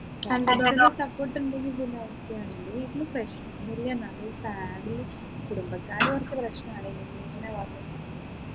എൻെറ വീട്ടിൽ support ഉണ്ടെങ്കിലും ഒരു അവസ്ഥയാണ് എൻെറ വീട്ടിൽ പ്രശ്നോന്നുമില്ല എന്നാലും family കുടുംബക്കാർ കുറച്ച് പ്രശ്നമാണ് ഇങ്ങനെ വന്നിട്ടുണ്ടെങ്കിൽ